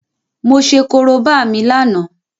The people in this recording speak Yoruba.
Mo ṣe Korobá mi lánàá